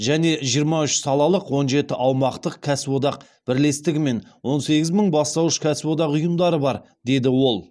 және жиырма үш салалық он жеті аумақтық кәсіподақ бірлестігі мен он сегіз мың бастауыш кәсіподақ ұйымдары бар деді ол